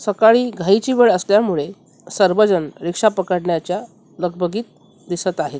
सकाळी घाईची वेळ असल्यामुळे सर्वजण रिक्षा पकडण्याच्या लगबगीत दिसत आहेत.